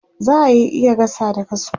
za'a Yi gasa da kasko